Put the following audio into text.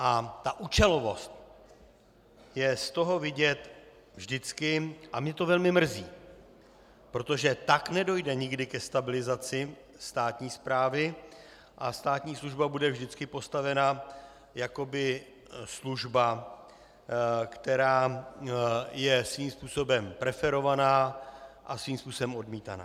A ta účelovost je z toho vidět vždycky, a mě to velmi mrzí, protože tak nedojde nikdy ke stabilizaci státní správy a státní služba bude vždycky postavena jakoby služba, která je svým způsobem preferovaná a svým způsobem odmítaná.